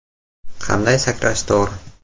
Qanday sakrash to‘g‘ri?